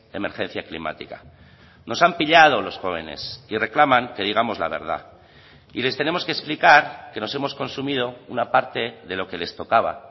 emergencia climática nos han pillado los jóvenes y reclaman que digamos la verdad y les tenemos que explicar que nos hemos consumido una parte de lo que les tocaba